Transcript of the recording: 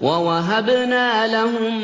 وَوَهَبْنَا لَهُم